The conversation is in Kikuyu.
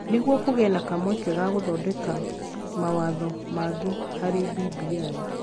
Nĩguo kũgĩe na kamweke ga gũthondeka mawatho mangĩ harĩ BBI.